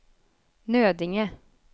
Nödinge